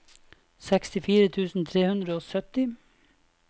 sekstifire tusen tre hundre og sytti